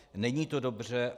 Není to dobře.